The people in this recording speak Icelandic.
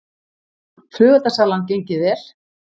Flugeldasalan gengið vel